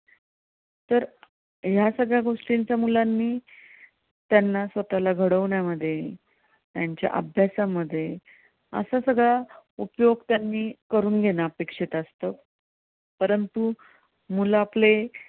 ह्या सगळ्या गोष्टींचा मुलांनी त्यांना स्वतःला घडवण्या मध्ये, त्यांच्या अभ्यासामध्ये, असा सगळा उपयोग त्यांनी करून घेणं अपेक्षित असतं परंतू मुलं आपले